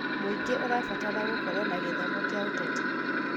Mũingĩ ũrabatara gũkorwo na gĩthomo gĩa kĩũteti.